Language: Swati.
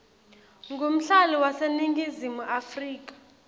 ngumhlali waseningizimu afrika